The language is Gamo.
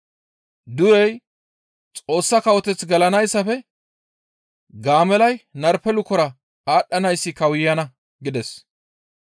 Durey Xoossa kawoteth gelanayssafe gaamellay narpe lukora aadhdhanayssi kawuyana!» gides.